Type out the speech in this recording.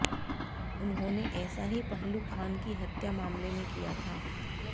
उन्होंने ऐसा ही पहलू खान की हत्या मामले में किया था